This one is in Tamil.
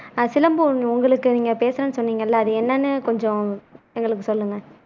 ஆஹ் சிலம்பு உங்களுக்கு நீங்க பேசணும்னு சொன்னீங்கல்ல அது என்னன்னு கொஞ்சம் எங்களுக்கு சொல்லுங்க